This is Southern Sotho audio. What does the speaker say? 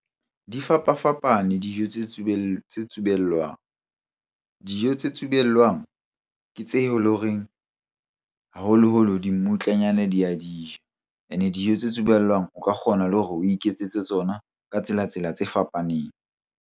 Di fapafapane dijo tse tsubellwang. Dijo tse tsubellwang ke tse e leng horeng haholoholo dimmutlanyana di a di ja. Ene dijo tse tsubellwang o ka kgona le hore o iketsetse tsona ka tsela-tsela tse fapaneng.